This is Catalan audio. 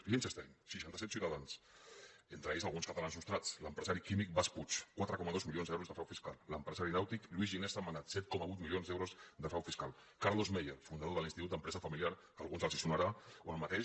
liechtenstein seixanta set ciutadans entre ells alguns catalans nostrats l’empresari químic bas puig quatre coma dos milions d’euros de frau fiscal l’empresari nàutic lluís gari sentmenat set coma vuit milions d’euros de frau fiscal carlos meier fundador de l’institut de l’empresa familiar que a alguns els sonarà o el mateix